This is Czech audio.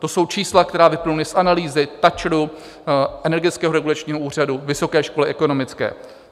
To jsou čísla, která vyplynula z analýzy TAČRu, Energetického regulačního úřadu, Vysoké školy ekonomické.